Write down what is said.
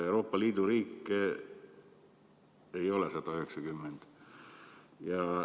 Euroopa Liidu riike ei ole 190.